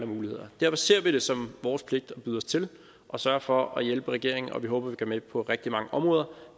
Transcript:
muligheder derfor ser vi det som vores pligt at byde os til og sørge for at hjælpe regeringen og vi håber vi kan være med på rigtig mange områder